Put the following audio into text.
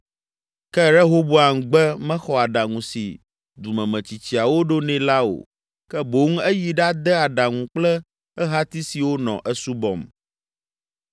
Ke Rehoboam gbe mexɔ aɖaŋu si dumemetsitsiawo ɖo nɛ la o ke boŋ eyi ɖade aɖaŋu kple ehati siwo nɔ esubɔm.